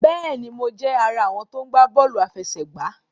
Béèni, Mo jé ará àwọn tí o gbà bóòlù àfẹsẹ̀gbá